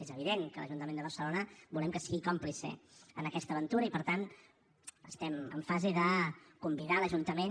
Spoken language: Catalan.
és evident que l’ajuntament de barcelona volem que sigui còmplice en aquesta aventura i per tant estem en fase de convidar l’ajuntament